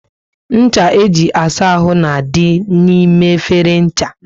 Ncha e ji asa áhù na dị n'ime efere ncha